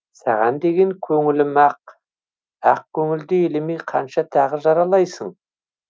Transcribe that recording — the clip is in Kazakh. саған деген көңілім ақ ақ көңілді елемей қанша тағы жаралайсың